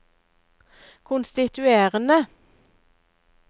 konstituerende